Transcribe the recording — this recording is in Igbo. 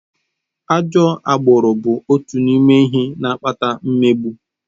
Ajọ agbụrụ bụ otu n'ime ihe na-akpata mmegbu.